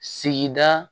Sigida